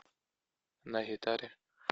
на гитаре